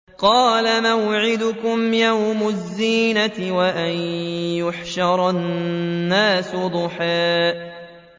قَالَ مَوْعِدُكُمْ يَوْمُ الزِّينَةِ وَأَن يُحْشَرَ النَّاسُ ضُحًى